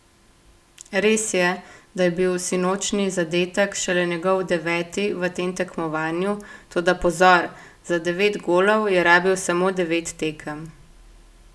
Res je, da je bil sinočnji zadetek šele njegov deveti v tem tekmovanju, toda pozor, za devet golov je rabil samo devet tekem!